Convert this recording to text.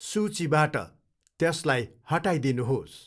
सूचीबाट त्यसलाई हटाइदिनुहोस्।